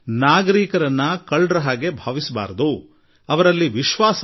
ನಾವು ನಾಗರಿಕರನ್ನು ಕಳ್ಳರಂತೆ ಕಾಣುವುದು ಬೇಡ ಎಂಬುದಾಗಿ ನಾನು ಸ್ಪಷ್ಟ ಮಾತುಗಳಲ್ಲಿ ತಿಳಿ ಹೇಳಿದೆ